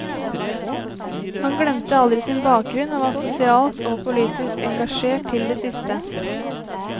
Han glemte aldri sin bakgrunn og var sosialt og politisk engasjert til det siste.